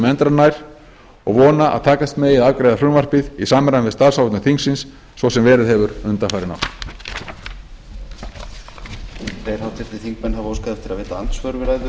endranær og vona að takast megi að afgreiða frumvarpið í samræmi við starfsáætlun þingsins svo sem verið hefur undanfarin ár